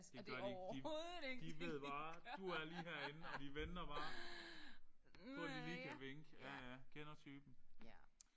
Det gør de ikke de de ved bare du er lige herinde og de venter bare på at de lige kan vinke. Ja ja kender typen